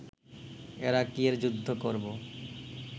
এরা কিয়ের যুদ্ধ করব